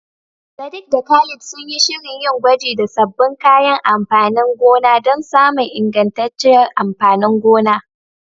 Sadiq da Khalid sun yi shirin yin gwaji da sabbin kayan amfanin gona don samun ingantacciyar amfanin gona.